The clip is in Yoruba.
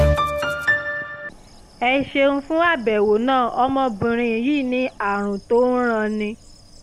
ẹ ṣeun fún àbẹ̀wò náà ọmọbìnrin yín ní àrùn tó ń ranni